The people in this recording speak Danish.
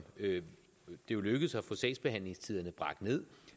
det jo lykkedes at få sagsbehandlingstiderne bragt ned